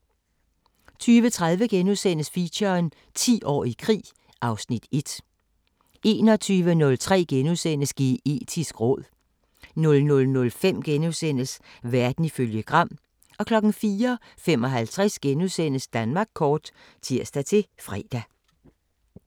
20:30: Feature: 10 år i krig (Afs. 1)* 21:03: Geetisk råd * 00:05: Verden ifølge Gram * 04:55: Danmark kort *(tir-fre)